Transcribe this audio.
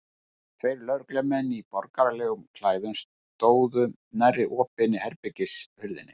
Tveir lögreglumenn í borgaralegum klæðum stóðu nærri opinni herbergishurðinni.